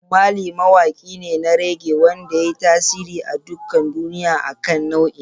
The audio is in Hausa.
Bob Marley mawaki ne na reggae wanda ya yi tasiri a duk duniya akan nau'in.